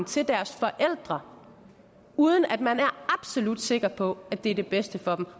til deres forældre uden at man er absolut sikker på at det er det bedste for dem